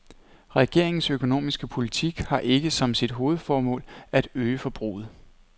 Regeringens økonomiske politik har ikke som sit hovedformål at øge forbruget.